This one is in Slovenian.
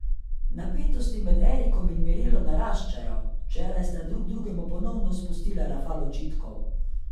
Napetosti med Erikom in Mirelo naraščajo, včeraj sta drug drugemu ponovno spustila rafal očitkov.